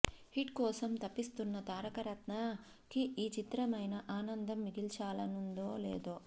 hit కోసం తపిస్తున్న తారకరత్న కి ఈ చిత్రమైనా ఆనందం మిగాల్చనుందో లేదో